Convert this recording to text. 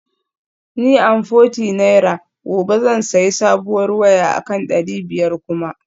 Ni amforty naira gobe zan sayi sabuwar waya akan dari biyar kuma